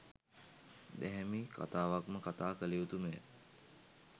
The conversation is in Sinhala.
දැහැමි කථාවක්ම කථා කළයුතුමය.